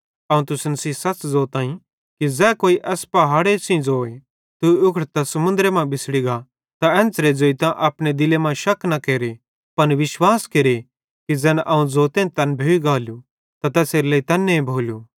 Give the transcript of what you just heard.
अवं तुसन सेइं सच़ ज़ोताईं कि ज़ै कोई एस पहाड़े सेइं ज़ोए तू उखड़तां समुन्द्रे मां बिछ़ड़ी गा त एन्च़रां ज़ोइतां अपने दिले मां शक न केरे पन विश्वास केरे कि ज़ैन अवं ज़ोतईं तैन भोइ गालू त तैसेरेलेइ तैन्ने भोलू